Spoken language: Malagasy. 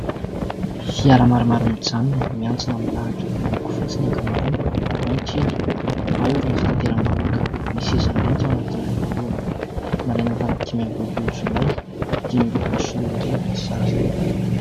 Fiara maro maro mijanona miantsona milahitra miloko fotsy ny ankamaroany ao ny kely ao irony fitanteram-bahoaka. Misy seza mainty ao anatin'ilay voalohany. Nalaina tamin'ny dimy amby roapolo jolay dimy ambin'ny folo sy roa arivo ny sary.